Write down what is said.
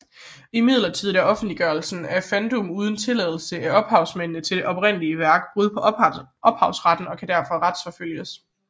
Imidlertid er offentliggørelser af fandub uden tilladelse fra ophavsmændene til det oprindelige værk brud på ophavsretten og kan derfor retsforfølges